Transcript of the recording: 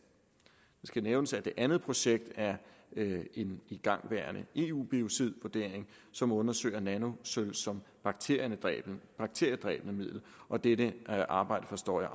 det skal nævnes at det andet projekt er en igangværende eu biocidvurdering som undersøger nanosølv som bakteriedræbende bakteriedræbende middel og dette arbejde forstår jeg